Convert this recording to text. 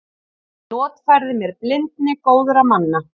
Notfærði mér blindni góðra manna.